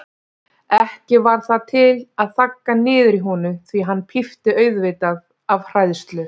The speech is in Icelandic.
Ekki varð það til að þagga niður í honum því hann pípti auðvitað af hræðslu.